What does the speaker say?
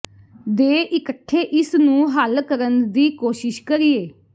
ਦੇ ਇਕੱਠੇ ਇਸ ਨੂੰ ਹੱਲ ਕਰਨ ਦੀ ਕੋਸ਼ਿਸ਼ ਕਰੀਏ